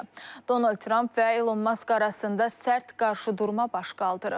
Donald Trump və Elon Musk arasında sərt qarşıdurma baş qaldırıb.